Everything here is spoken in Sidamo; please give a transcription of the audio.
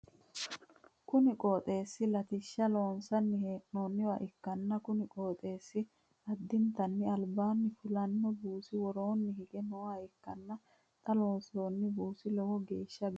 kuni qooxeesi latishsha loonsanni hee'noonniwa ikkanna, kuni qoxeessi addintanni albaanni fullanni buusi woroonni hige nooha ikkanna, xa loonsoonni buusi lowo geeeshsha biifannoho .